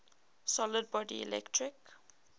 solid body electric